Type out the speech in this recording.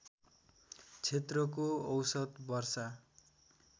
क्षेत्रको औसत वर्षा